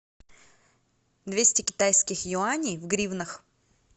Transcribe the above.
двести китайских юаней в гривнах